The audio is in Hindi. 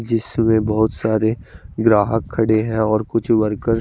जिस समय बोहोत सारे ग्राहक खड़े है और कुछ वर्कर --